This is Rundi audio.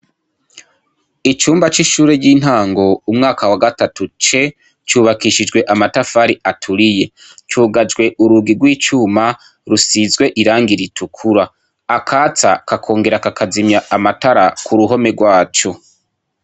Icumba c'ishure ry'intango Umwaka wa gatatu C, cubakishijwe amatafari aturiye, cugajwe urugi rw'icuma risizwe irangi ritukura. Akatsa kakonhera kakazimya amatara kuruhome rwaco.